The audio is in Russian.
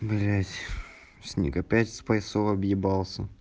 блядь сниг опять спайсов объебался